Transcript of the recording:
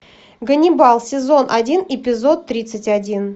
ганнибал сезон один эпизод тридцать один